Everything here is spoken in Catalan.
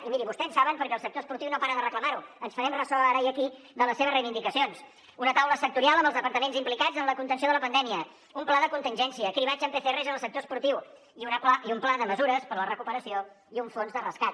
i mirin vostès ho saben perquè el sector esportiu no para de reclamar ho ens farem ressò ara i aquí de les seves reivindicacions una taula sectorial amb els departaments implicats en la contenció de la pandèmia un pla de contingència cribratge amb pcrs en el sector esportiu un pla de mesures per a la recuperació i un fons de rescat